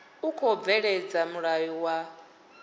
u khou bveledza mulayo wa